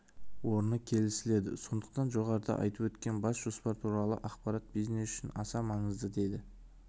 орны келісіледі сондықтан жоғарыда айтып өткен бас жоспар туралы ақпарат бизнес үшін аса маңызды деді